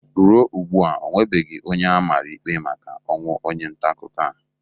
Ruo ugbu a onwebeghi onye a mara ikpe maka ọnwụ onye ntaakụkọ a.